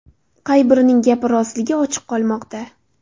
Qay birining gapi rostligi ochiq qolmoqda.